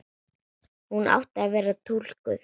Hún átti að vera túlkur.